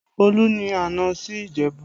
Olú ni àná sí Ìjẹ̀bú